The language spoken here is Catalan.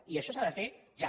i això s’ha de fer ja